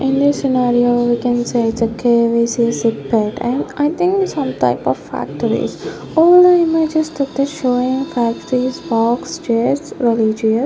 In this scenario we can say it's a and I think some type of factories all i know is just they're showing factories box chairs --